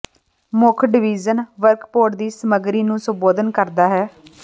ਮੁੱਖ ਡਿਵੀਜ਼ਨ ਵਰਕਪੌਟ ਦੀ ਸਮਗਰੀ ਨੂੰ ਸੰਬੋਧਨ ਕਰਦਾ ਹੈ